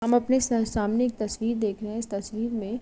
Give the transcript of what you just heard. हम अपने स सामने एक तस्वीर देख रहे है। इस तस्वीर में --